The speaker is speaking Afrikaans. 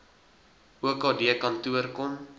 okd kantoor kom